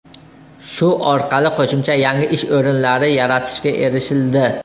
Shu orqali qo‘shimcha yangi ish o‘rinlari yaratishga erishildi.